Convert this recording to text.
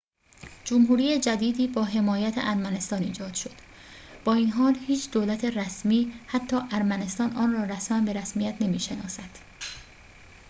جمهوری جدیدی با حمایت ارمنستان ایجاد شد با این حال هیچ دولت رسمی حتی ارمنستان آن را رسماً به رسمیت نمی‌شناسد